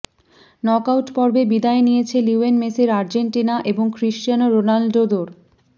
নকআউটপর্বে বিদায় নিয়েছে লিওনেল মেসির আর্জেন্টিনা এবং ক্রিশ্চিয়ানো রোনাল্ডোদোর